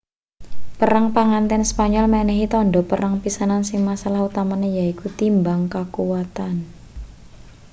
perang pangganten spanyol menehi tandha perang pisanan sing masalah utamane yaiku timbang kakuwatan